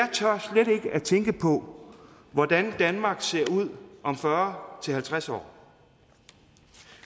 jeg tænke på hvordan danmark ser ud om fyrre til halvtreds år